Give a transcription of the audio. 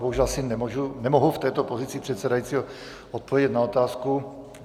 Bohužel asi nemohu v této pozici předsedajícího odpovědět na otázku.